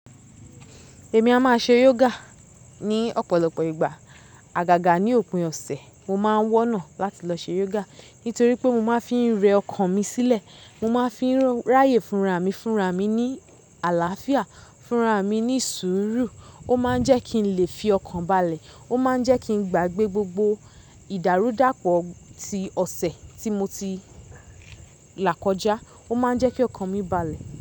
Èmi a máa ṣe yoga ní ọ̀pọ̀lọpọ̀ ìgbà. Àgàgà ní òpin ọ̀sẹ̀, mo máa ń wọ́nà láti lọ ṣe yoga nítorí pé mo máa ń fi rẹ ọkàn mi sílẹ̀, mo máa ń fi ráyè fúnra mi, fúnra mi ní àlàáfíà, fúnra mi ní sùúrù. Ó máa ń jẹ́ kí n lè fi ọkàn balẹ̀, ó máa ń jẹ́ kí n gbagbe gbogbo ìdàrúdàpọ̀ tí ọ̀sẹ̀ tí mo ti là kọjá. Ó máa ń jẹ́ kí ọkàn mi balẹ̀.